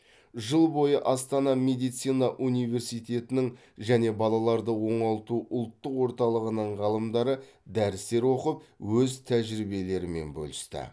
жыл бойы астана медицина университетінің және балаларды оңалту ұлттық орталығының ғалымдары дәрістер оқы өз тәжірибелерімен бөлісті